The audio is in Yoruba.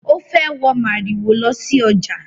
Ó fẹ́ wọ màrìwò lọ sí ọjà